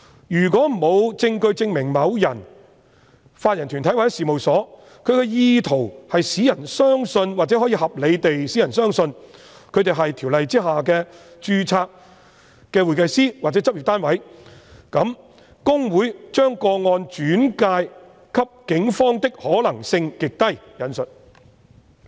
如果沒有證據證明某人、法人團體或事務所有意圖使人相信或可以合理地使人相信他們是《條例》下的註冊會計師或執業單位，那麼："公會把個案轉介警方的可能性極低"。